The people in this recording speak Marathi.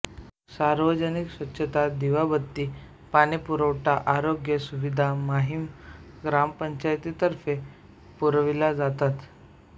सार्वजनिक स्वच्छता दिवाबत्ती पाणीपुरवठा आरोग्य सुविधा माहीम ग्रामपंचायतीतर्फे पुरविल्या जातात